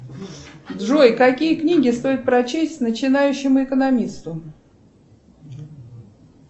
джой какие книги стоит прочесть начинающему экономисту